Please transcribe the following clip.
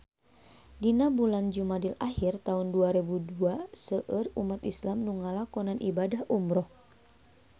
Dina bulan Jumadil ahir taun dua rebu dua seueur umat islam nu ngalakonan ibadah umrah